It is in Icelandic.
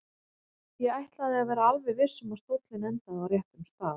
Ég ætlaði að vera alveg viss um að stóllinn endaði á réttum stað.